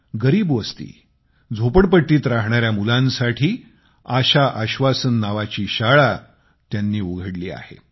गरीब वस्ती आणि झोपडपट्टीत राहणाऱ्या मुलांसाठी आशा आश्वासन नावाची शाळा उघडली आहे